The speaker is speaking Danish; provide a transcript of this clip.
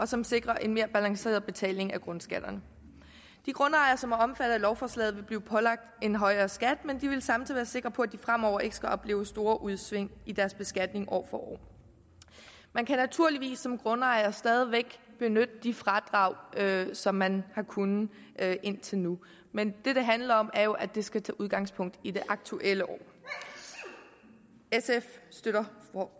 som sikrer en mere balanceret betaling af grundskatterne de grundejere som er omfattet af lovforslaget vil blive pålagt en højere skat men de vil samtidig sikre på at de fremover ikke skal opleve store udsving i deres beskatning år for år man kan naturligvis som grundejer stadig væk benytte de fradrag som man har kunnet indtil nu men det det handler om er jo at det skal tage udgangspunkt i det aktuelle år sf støtter